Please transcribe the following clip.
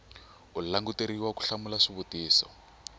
u languteriwa ku hlamula xivutiso